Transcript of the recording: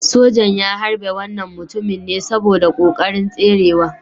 Sojan ya harbe wannan mutumin ne saboda kokarin tserewa.